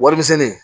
Warimisɛnni